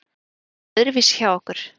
Þetta var öðruvísi hjá okkur.